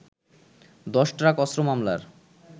১০ truck অস্ত্র মামলার